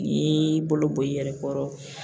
N'i y'i bolo bɔ i yɛrɛ kɔrɔ